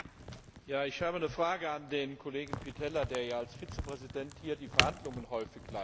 Ich habe eine Frage an den Kollegen Pitella, der ja als Vizepräsident hier die Verhandlungen häufig leitet.